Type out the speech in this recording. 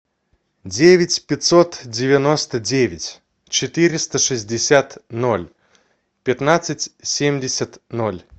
девять пятьсот девяносто девять четыреста шестьдесят ноль пятнадцать семьдесят ноль